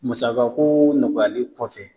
Musakako nɔgɔyali kɔfɛ